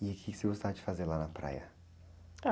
E o quê que você gostava de fazer lá na praia?h...